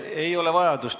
Ei ole vaja.